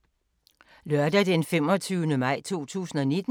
Lørdag d. 25. maj 2019